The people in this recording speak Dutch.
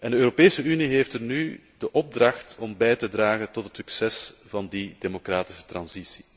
De Europese Unie heeft nu de opdracht om bij te dragen tot het succes van die democratische overgang.